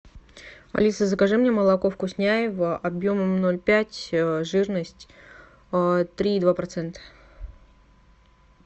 алиса закажи мне молоко вкусняево объемом ноль пять жирность три и два процента